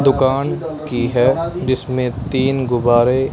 दुकान की है जिसमें तीन गुब्बारे--